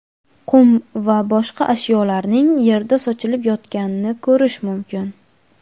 qum va boshqa ashyolarning yerda sochilib yotganini ko‘rish mumkin.